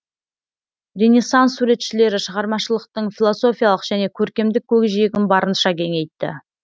ренессанс суретшілері шығармашылықтың философиялық және көркемдік көкжиегін барынша кеңейтті